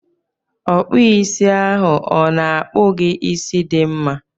Ọkpụisi ahụ ọ na-akpu gị isi dị mma?